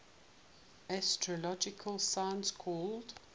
astrological sign called